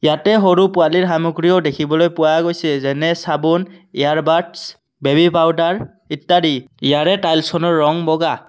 ইয়াতে সৰু পোৱালীৰ সামগ্ৰীও দেখিবলৈ পোৱা গৈছে যেনে চাবোন ইয়াৰ বাড্চ বেবি পাউডাৰ ইত্যাদি ইয়াৰে টাইলছ খনৰ ৰং বগা।